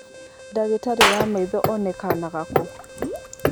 Dagitarĩ wa maitho onekaga kũ?